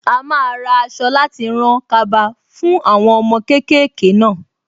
A máa ra aṣọ láti rán kaba fún àwọn ọmọ kéékèèké náà.